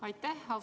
Aitäh!